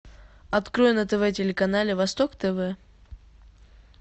открой на тв телеканале восток тв